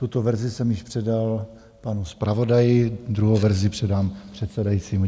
Tuto verzi jsem již předal panu zpravodaji, druhou verzi předám předsedajícímu.